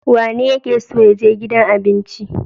Wanene yake so ya je gidan abinci?